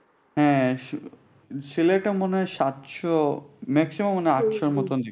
হ্যাঁ সিলেটে সিলেটে মনে হয় সাতশ maximum মনে হয় আটশ এর মত।